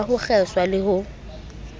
ba ho kgeswa le ho